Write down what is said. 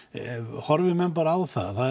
horfi menn bara á það